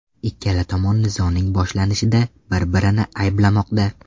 Ikkala tomon nizoning boshlanishida bir-birini ayblamoqda .